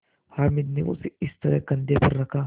हामिद ने उसे इस तरह कंधे पर रखा